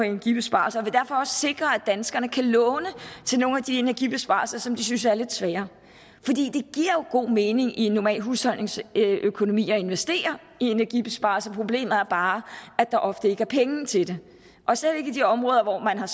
energibesparelser og sikre at danskerne kan låne til nogle af de energibesparelser som de synes er lidt svære at god mening i en normal husholdningsøkonomi at investere i energibesparelser men problemet er bare at der ofte ikke er penge til det og slet ikke i de områder hvor man har